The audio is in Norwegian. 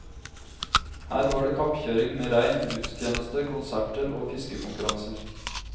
Her var det kappkjøring med rein, gudstjeneste, konserter og fiskekonkurranser.